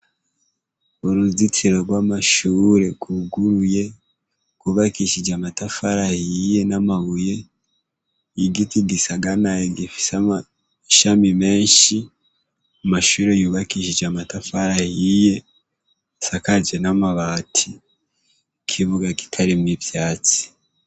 Uruzitiro rw'amashure rwuguruye, rwubakishije amatafari ahiye n'amabuye, igiti gisaganaye gifise amashami menshi, amashure yubakishije amatafari ahiye asakaje n'amabati, ikibuga kitarimwo ivyatsi.